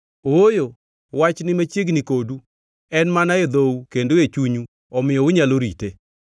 Ooyo, wach ni machiegni kodu, en mana e dhou kendo e chunyu omiyo unyalo rite.